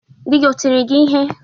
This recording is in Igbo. Dị gị o tịrị gị ịhe?